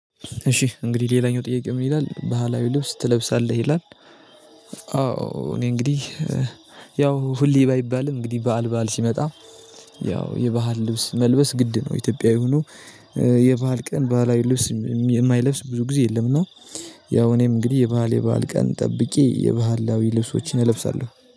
እሺ እንግዲህ ሌላኛው ጥያቄ ምን ይላል ባህላዊ ልብስ ትለብሳለህ ይላል? አዎ እኔ እንግዲህ ሁሌ ባይባልም እንግዲህ በዓል በዓል ሲመጣ ያው የባህል ልብስ መልበስ ግድ ነው። ኢትዮጵያ ሆኖ የባህል ቀን ባህል ልብስ የማይለብስ ብዙ ጊዜ የለም። እና ያው እኔም እንግዲህ የባህል የባህል ቀን ጠብቂ የባህላዊ ልብሶችን እለብሳለሁ